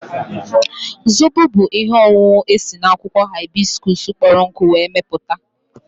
Zobo bụ ihe ọṅụṅụ esi n'akwụkwọ haibiskuus kpọrọ nkụ were mepụta